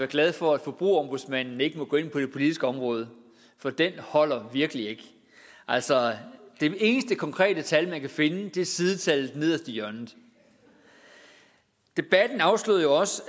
glade for at forbrugerombudsmanden ikke må gå ind på det politiske område for den holder virkelig ikke altså det eneste konkrete tal man kan finde er sidetallet nederst i hjørnet debatten afslørede jo også